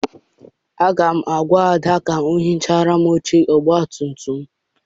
Aga m agwa Ada ka o hichara m oche ọgbatumtum m.